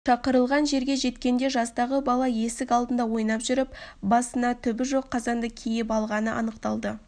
шақырылған жерге жеткенде жастағы бала есік алдында ойнап жүріп басына түбі жоқ қазанды киіп алғаны анықталды